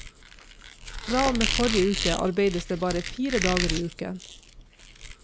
Fra og med forrige uke arbeides det bare fire dager i uken.